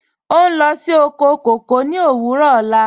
Ọ n lọ sí oko kọkọ ni owurọ ọ̀la.